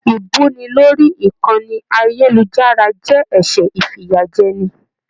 Ibuni lórí ìkànnì ayelujara jẹ ẹsẹ ifiyajẹni.